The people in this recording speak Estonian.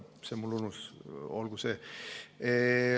See mul enne ununes.